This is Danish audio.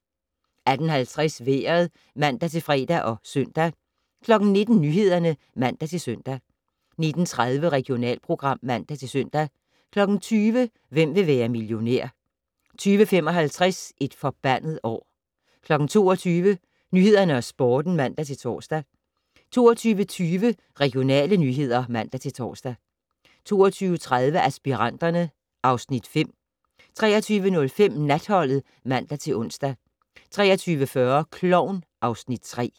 18:50: Vejret (man-fre og søn) 19:00: Nyhederne (man-søn) 19:30: Regionalprogram (man-søn) 20:00: Hvem vil være millionær? 20:55: Et forbandet år 22:00: Nyhederne og Sporten (man-tor) 22:20: Regionale nyheder (man-tor) 22:30: Aspiranterne (Afs. 5) 23:05: Natholdet (man-ons) 23:40: Klovn (Afs. 3)